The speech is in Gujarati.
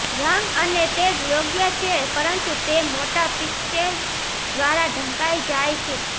રંગ અને તેજ યોગ્ય છે પરંતુ તે મોટા પિક્સેલ્સ દ્વારા ઢંકાઇ જાય છે